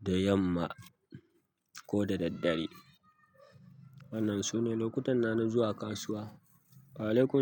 da yamma ko da daddare. Wannan sune lokutana na zuwa kasuwa.